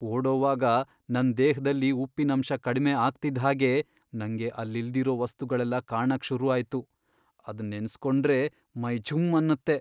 ಓಡೋವಾಗ ನನ್ ದೇಹ್ದಲ್ಲಿ ಉಪ್ಪಿನಂಶ ಕಡ್ಮೆ ಆಗ್ತಿದ್ಹಾಗೇ ನಂಗೆ ಅಲ್ಲಿಲ್ದಿರೋ ವಸ್ತುಗಳೆಲ್ಲ ಕಾಣಕ್ ಶುರು ಆಯ್ತು, ಅದ್ ನೆನ್ಸ್ಕೊಂಡ್ರೇ ಮೈ ಝುಮ್ ಅನ್ನತ್ತೆ.